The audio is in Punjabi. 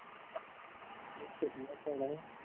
ਉਹ ਤੇ ਕਰਨਾ ਪੈਣਾ